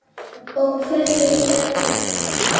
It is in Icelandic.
Og hverjir eru þeir?